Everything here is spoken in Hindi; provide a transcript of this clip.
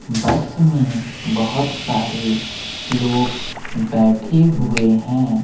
बस में बहुत सारे लोग बैठे हुए हैं।